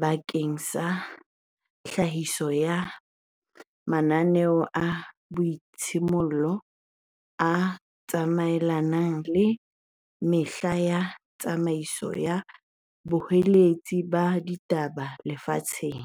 bakeng sa tlhahiso ya mananeo a boitshimollelo a tsamaelanang le metjha ya tsamaiso ya boqolotsi ba ditaba lefatsheng.